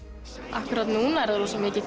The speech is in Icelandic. akkúrat núna er það rosamikið